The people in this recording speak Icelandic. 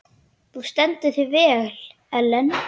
Þú stendur þig vel, Ellen!